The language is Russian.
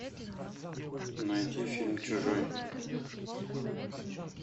найти фильм чужой